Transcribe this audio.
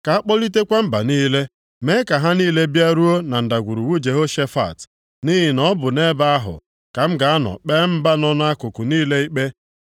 “Ka akpọlitekwa mba niile, mee ka ha niile bịaruo na Ndagwurugwu Jehoshafat, nʼihi na ọ bụ nʼebe ahụ ka m ga-anọ kpee mba nọ nʼakụkụ niile ikpe.